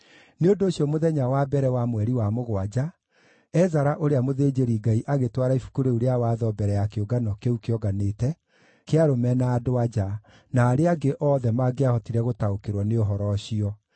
Nĩ ũndũ ũcio, mũthenya wa mbere wa mweri wa mũgwanja, Ezara ũrĩa mũthĩnjĩri-Ngai agĩtwara ibuku rĩu rĩa Watho mbere ya kĩũngano kĩu kĩonganĩte kĩa arũme na andũ-a-nja, na arĩa angĩ othe mangĩahotire gũtaũkĩrwo nĩ ũhoro ũcio.